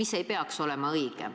See ei ole õige.